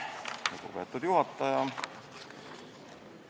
Lugupeetud juhataja!